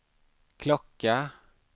klocka